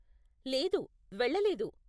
లేదు, వెళ్ళలేదు.